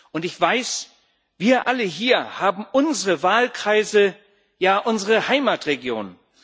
Und ich weiß Wir alle hier haben unsere Wahlkreise, ja unsere Heimatregionen.